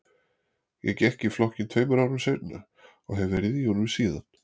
Ég gekk í flokkinn tveim árum seinna og hef verið í honum síðan.